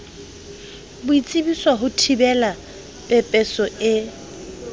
boitsebiso ho thibela pepeso e